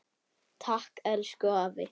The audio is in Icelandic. Takk, elsku afi.